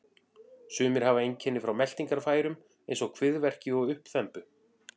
Sumir hafa einkenni frá meltingarfærum eins og kviðverki og uppþembu.